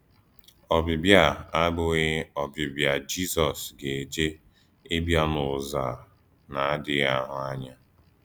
‘Ọ̀bìbìà’ à abụ̀ghị Ọ̀bìbìà Jízọs gàjè íbìà n’ùzò à na-àdíghì àhụ̀ ànyà.